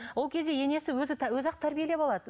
ол кезде енесі өзі өзі ақ тәрбиелеп алады